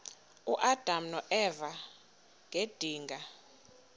uadam noeva ngedinga